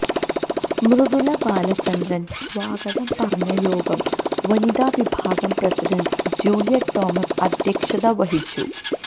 മൃദുല ബാലചന്ദ്രന് സ്വാഗതം പറഞ്ഞ യോഗം വനിതാവിഭാഗം പ്രസിഡന്റ് ജൂലിയറ്റ് തോമസ് അധ്യക്ഷത വഹിച്ചു